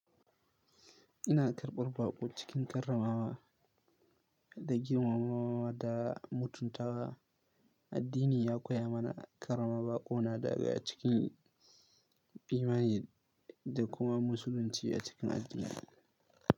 Ina karɓar baƙo cikin karramawa da girmamawa da mutuntawa. Addini ya koya mana karrama baƙo na daga a cikin imani da kuma musulunci a cikin addinina.